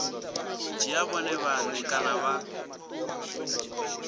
dzhia vhone vhane kana vha